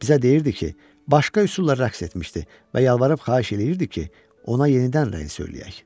Bizə deyirdi ki, başqa üsulla rəqs etmişdi və yalvarıb xahiş eləyirdi ki, ona yenidən rəqs eləyək.